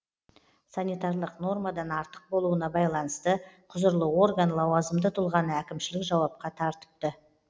санитарлық нормадан артық болуына байланысты құзырлы орган лауазымды тұлғаны әкімшілік жауапқа тартыпты